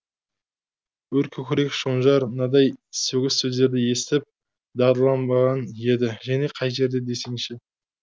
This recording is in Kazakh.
өр көкірек шонжар мынадай сөгіс сөздерді естіп дағдыланбаған еді және қай жерде десеңші